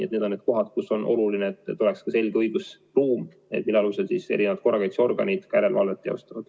Aga need on need kohad, kus on oluline, et oleks ka selge õigusruum, mille alusel korrakaitseorganid järelevalvet teostavad.